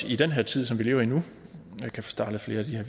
i den her tid som vi lever i nu kan få startet flere af de her